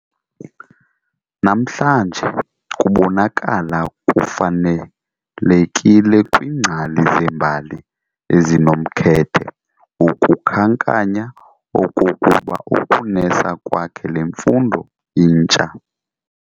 Namhlanje kubonakala kufanelekile kwiingcali zembali ezinomkhethe ukukhankanya okokuba ukunesa kwakhe le mfundo intsha.